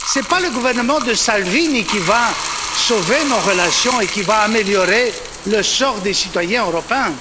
Ce n'est pas le gouvernement de Salvini qui va sauver nos relations et qui va améliorer le sort des citoyens européens.